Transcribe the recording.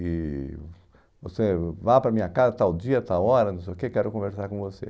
E você, vá para a minha casa, tal dia, tal hora, não sei o que, quero conversar com você.